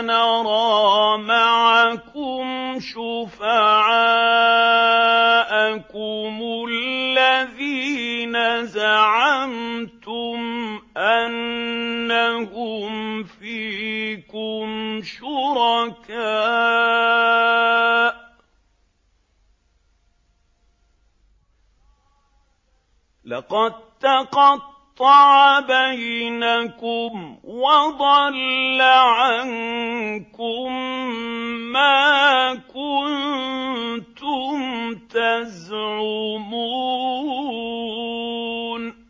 نَرَىٰ مَعَكُمْ شُفَعَاءَكُمُ الَّذِينَ زَعَمْتُمْ أَنَّهُمْ فِيكُمْ شُرَكَاءُ ۚ لَقَد تَّقَطَّعَ بَيْنَكُمْ وَضَلَّ عَنكُم مَّا كُنتُمْ تَزْعُمُونَ